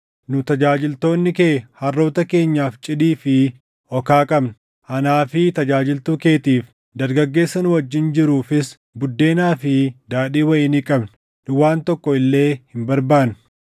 Nu tajaajiltoonni kee harroota keenyaaf cidii fi okaa qabna; anaa fi tajaajiltuu keetiif, dargaggeessa nu wajjin jiruufis buddeenaa fi daadhii wayinii qabna. Nu waan tokko illee hin barbaannu.”